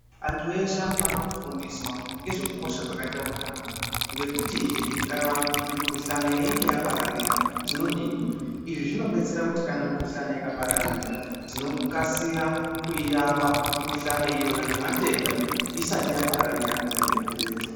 Antu eshe anofamire kufundiswa ngezvekukosha kwakaite utano ngekutihe kana mikhuhlani yeinge yapararira tinodini. Izvi zvinodetsera kuti kana mikhuhlani ikapararira tinokasira kurapa mukhuhlani iyona nematenda isati yapararira kuende kuretu.